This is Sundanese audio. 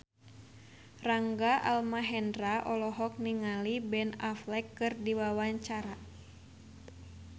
Rangga Almahendra olohok ningali Ben Affleck keur diwawancara